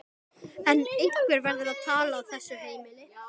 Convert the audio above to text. En einhver verður að tala á þessu heimili.